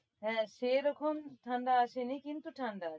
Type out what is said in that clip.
হ্যাঁ সেরকম ঠাণ্ডা আসেনি কিন্তু ঠাণ্ডা আছে।